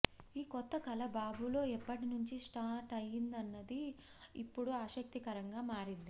ఈ కొత్త కళ బాబులో ఎప్పటి నుంచి స్టార్ట్ అయ్యిందన్నది ఇప్పుడు ఆసక్తికరంగా మారింది